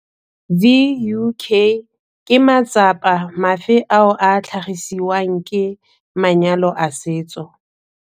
Vuk, ke matsapa mafe ao a tlhagisiwang ke manyalo a setso?